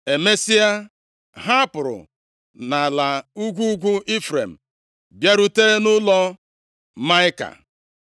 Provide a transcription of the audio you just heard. Emesịa, ha pụrụ nʼala ugwu ugwu Ifrem, bịarute nʼụlọ Maịka.